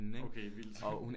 Okay vildt